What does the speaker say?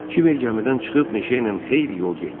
Kiber gəmidən çıxıb meşə ilə xeyli yol getdi.